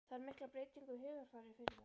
Þarf mikla breytingu á hugarfari fyrir það?